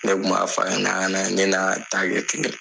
Ne tun b'a fɔ ɲɛna yani an ka taa